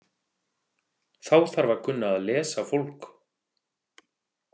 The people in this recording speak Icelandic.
Þá þarf að kunna að lesa fólk.